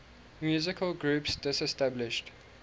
musical groups disestablished